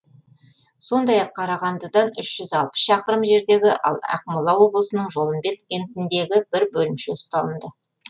сондай ақ қарағандыдан үш жүз алпыс шақырым жердегі ақмола облысының жолымбет кентіндегі бір бөлімше ұсталынды